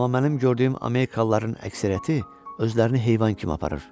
Amma mənim gördüyüm amerikalıların əksəriyyəti özlərini heyvan kimi aparır.